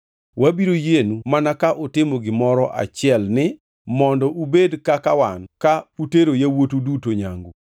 Wabiro yienu mana ka utimo gimoro achielni: mondo ubed kaka wan ka utero yawuotu duto nyangu.